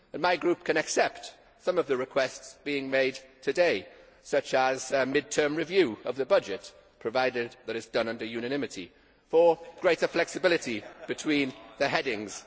My Group can accept some of the requests being made today such as a mid term review of the budget, provided that it is done under unanimity, for greater flexibility between the headings.